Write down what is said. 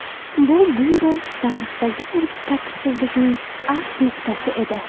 Bu byuro tarixidagi tartibsizlikning avj nuqtasi edi.